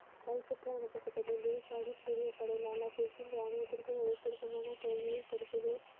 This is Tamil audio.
கை சுற்று அனுப்பப்பட்டது குருசாகிப் சிறிய படைகளான ராணுவத்திற்கும் மிகச்சுருக்கமான தோல்வியை கொடுத்தது.